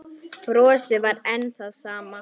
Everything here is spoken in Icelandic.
Brosið var enn það sama.